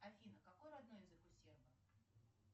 афина какой родной язык у сербов